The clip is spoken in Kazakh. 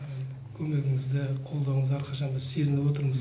көмегіңізді қолдауыңызды әрқашан біз сезініп отырмыз